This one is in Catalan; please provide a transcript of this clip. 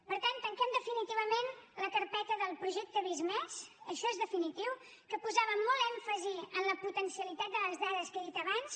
per tant tanquem definitivament la carpeta del projecte visc+ això és definitiu que posava molt èmfasi en la potencialitat de les dades que he dit abans